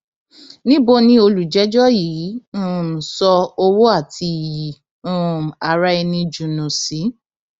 níbo ni olùjẹjọ yìí um sọ owó àti iyì um araẹni jùnú sí